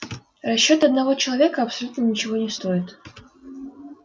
расчёты одного человека абсолютно ничего не стоят